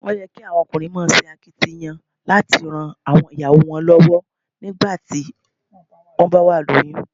Ó yẹ kí àwọn ọkùnrin máa ṣakitiyan láti ran àwọn ìyàwó wọn lọ́wọ́ nígbà tí wón bá wà lóyún.